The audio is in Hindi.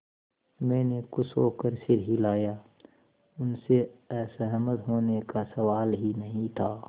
मैंने खुश होकर सिर हिलाया उनसे असहमत होने का सवाल ही नहीं था